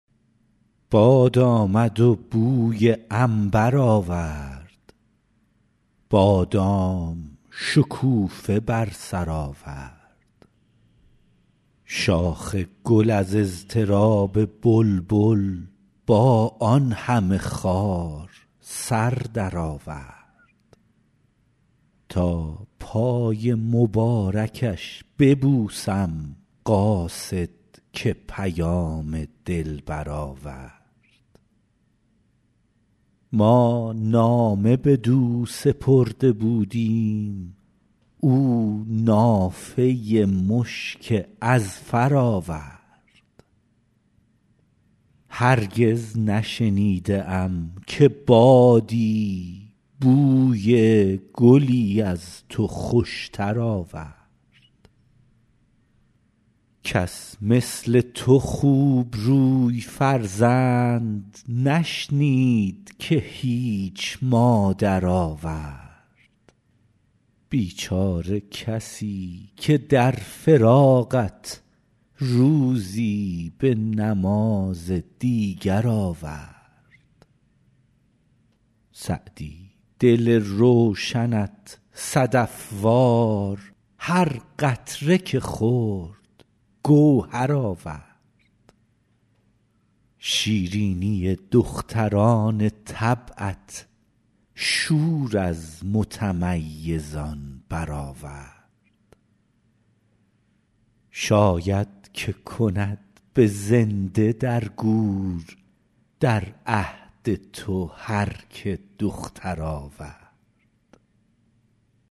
باد آمد و بوی عنبر آورد بادام شکوفه بر سر آورد شاخ گل از اضطراب بلبل با آن همه خار سر درآورد تا پای مبارکش ببوسم قاصد که پیام دلبر آورد ما نامه بدو سپرده بودیم او نافه مشک اذفر آورد هرگز نشنیده ام که بادی بوی گلی از تو خوشتر آورد کس مثل تو خوبروی فرزند نشنید که هیچ مادر آورد بیچاره کسی که در فراقت روزی به نماز دیگر آورد سعدی دل روشنت صدف وار هر قطره که خورد گوهر آورد شیرینی دختران طبعت شور از متمیزان برآورد شاید که کند به زنده در گور در عهد تو هر که دختر آورد